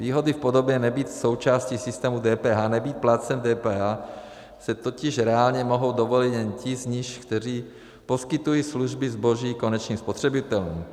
Výhody v podobě nebýt součástí systému DPH, nebýt plátcem DPH si totiž reálně mohou dovolit jen ti z nich, kteří poskytují služby, zboží konečným spotřebitelům.